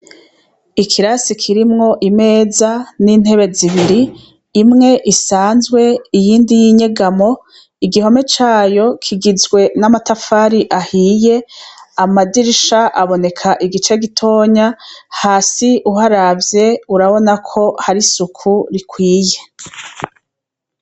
Ikirasi kirimwo imeza n'intebe zibiri imwe isanzwe iyindi y'inyegamo igihome cayo kigizwe n'amatafari ahiye amadirisha aboneka igice gitonya hasi uharavye urabona ko hari isuku rikwiye.